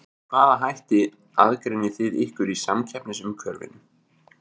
Með hvaða hætti aðgreinið þið ykkur í samkeppnisumhverfinu?